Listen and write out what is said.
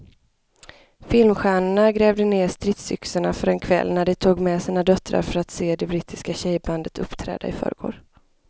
Filmstjärnorna grävde ned stridsyxorna för en kväll när de tog med sina döttrar för att se det brittiska tjejbandet uppträda i förrgår.